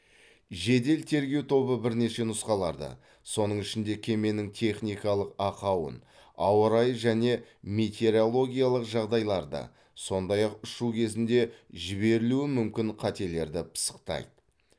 жедел тергеу тобы бірнеше нұсқаларды соның ішінде кеменің техникалық ақауын ауа райы және метеорологиялық жағдайларды сондай ақ ұшу кезінде жіберілуі мүмкін қателерді пысықтайды